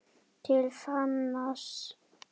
TIL FÁNANS